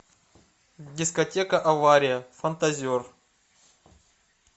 дискотека авария фантазер